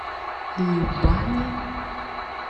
любани